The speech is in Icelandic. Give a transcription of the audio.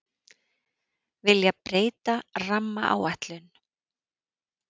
Vilja breyta rammaáætlun